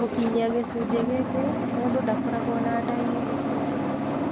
Gũkinyia gĩcunjĩ gĩkĩ, mũndũ ndakoragwo na ndariri o na ĩmwe.